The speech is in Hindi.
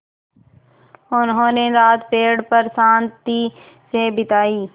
उन्होंने रात पेड़ पर शान्ति से बिताई